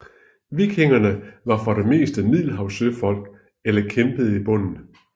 Vikingerne var for det meste middelhavssøfolk eller kæmpede i bunden